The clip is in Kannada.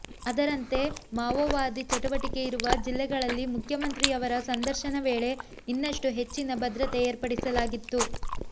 ಅದರಂತೆ ಮಾವೋವಾದಿ ಚಟುವಟಿಕೆ ಇರುವ ಜಿಲ್ಲೆಗಳಲ್ಲಿ ಮುಖ್ಯಮಂತ್ರಿಯವರ ಸಂದರ್ಶನ ವೇಳೆ ಇನ್ನಷ್ಟು ಹೆಚ್ಚಿನ ಭದ್ರತೆ ಏರ್ಪಡಿಸಲಾಗಿತ್ತು